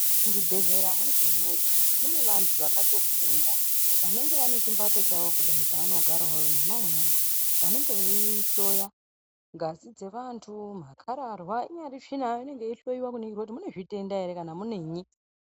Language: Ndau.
Muchibhedhlera mwega-mwega mune vantu vakatofunda vanenge vaine chimbatso chavo kudai chavanogara mwona imwomwo. Vanenge veihloya ngazi dzevantu makararwa inyari tsvina inonga yeihloiwa kuningira kuti mune zvitenda ere kana kuti muneyi.